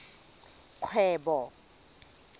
kgwebo